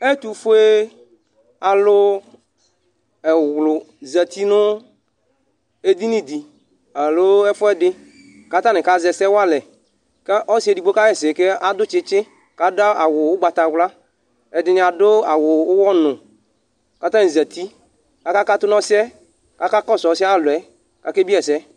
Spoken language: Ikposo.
Ɛtʋfʋe alu ɛwlu zɛti nʋ edini di alo ɛfʋɛdi kʋ atani kazɛ ɛsɛ walɛ kʋ ɔsi ɛdigbo kaɣɛsɛ kʋ adu tsitsi kʋ adu awu ugbatawla Ɛdiní adu awu ʋwɔ nu kʋ atani zɛti akakatu nu osi yɛ, akakɔsu ɔsi ayʋ alɔ yɛ kʋ akebie yi ɛsɛ